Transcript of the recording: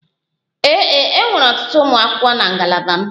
Ee, e nwere ọtụtụ ụmụ akwụkwọ na ngalaba m.